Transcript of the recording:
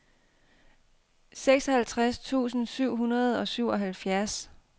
seksoghalvtreds tusind syv hundrede og syvoghalvfjerds